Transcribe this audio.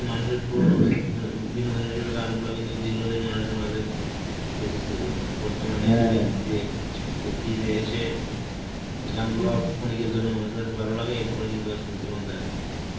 মানুষের পুরনো বেন~ ও বিনোদন হিসাবে গানগুলা কিন্তু দীর্ঘদিন মানুষের মাঝে বেঁচেছিল, এই বর্তমানে এই যে DJ ~ এ DJ এসে গানগুলো অল্প ক্ষণিকের জন্য মানুষের ভালো লাগে, এরপরে কিন্তু আর শুনতে মন চায় না.